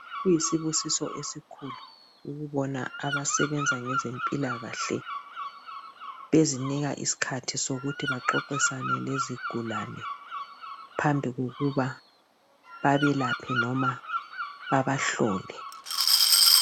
Kuyisibusiso esikhulu ukubona abasebenza ngezempilakahle bezinika isikhathi sokuthi baxoxisane lezigulane phambi kokuba babelaphe loba babahlole .